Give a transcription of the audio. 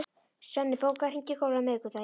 Svenni, bókaðu hring í golf á miðvikudaginn.